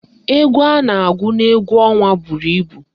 Égwú a na-agụ n'égwú ọnwa buru ibu